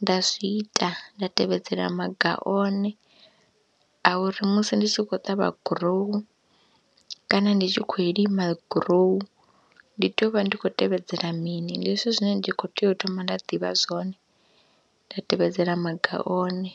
nda zwi ita nda tevhedzela maga one a uri musi ndi tshi khou ṱavha gurowu kana ndi tshi khou lima gurowu ndi tea u vha ndi khou tevhedzela mini. Ndi zwithu zwine ndi khou tea u thoma nda ḓivha zwone nda tevhedzela maga one.